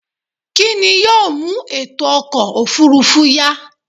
kí ni yóò mú ètò ọkọ̀ òfurufú yá?